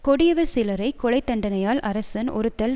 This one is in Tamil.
கொடியவர் சிலரை கொலைத்தண்டனையால் அரசன் ஒறுத்தல்